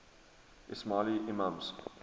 ismaili imams